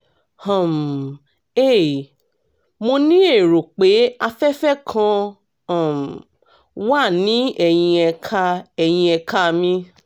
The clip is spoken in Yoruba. um hey mo ní èrò pé afẹ́fẹ́ kan um wà ní ẹ̀yìn ẹ̀ka ẹ̀yìn ẹ̀ka mi